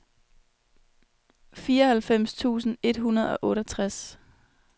fireoghalvfems tusind et hundrede og otteogtres